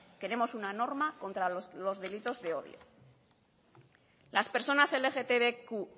queremos una norma contra los delitos de odio las personas lgtbq